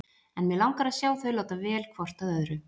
En mig langar að sjá þau láta vel hvort að öðru.